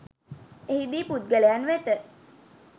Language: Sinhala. එහිදී පුද්ගලයන් වෙත